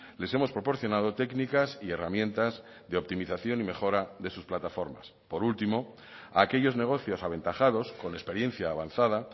les hemos proporcionado técnicas y herramientas de optimización y mejora de sus plataformas por último a aquellos negocios aventajados con experiencia avanzada